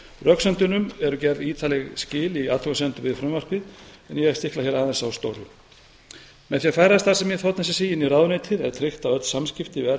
röksemdunum eru gerð ítarleg skil í athugasemdum við frumvarpið en ég stikla hér aðeins á stóru með því að færa starfsemi þ s s í inn í ráðuneytið er tryggt að öll samskipti við